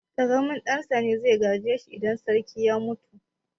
Ƙaramin ɗan sa ne zai gaje shi idan sarki ya mutu.